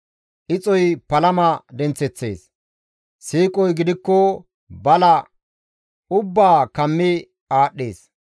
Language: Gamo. Ixoy palama denththeththees; siiqoy gidikko bala ubbaa kammi aadhdhees.